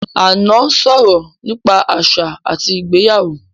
Ànọ́ sọ̀rọ̀ nípa àṣà àti ìgbéyàwó